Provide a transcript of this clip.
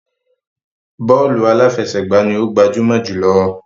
Bọ́ọ̀lù aláfẹsẹ̀gbá ni ó gbajúmọ̀ jùlọ.